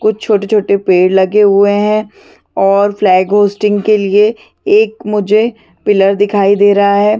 कुछ छोटे - छोटे पेड़ लगे हुए है और फ्लैग होस्टिंग के लिए एक मुझे पिलर दिखाई दे रहा है।